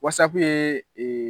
Wasa kun ye